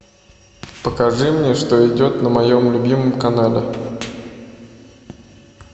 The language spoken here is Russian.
покажи мне что идет на моем любимом канале